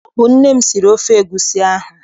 Ọ bụ nne m siri ofe egusi ahụ.